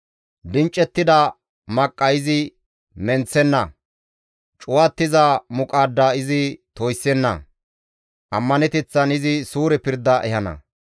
Dinccettida maqqa izi menththenna; cuwattiza muqaadda izi toyssenna; ammaneteththan izi suure pirda ehana.